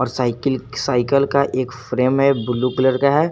और cycle cycle का एक फ्रेम है ब्लू कलर का है।